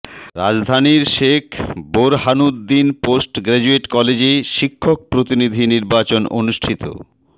রাজধানীর Sheikh Borhanuddin post graduate কলেজে শিক্ষক প্রতিনিধি নির্বাচন অনুষ্ঠিত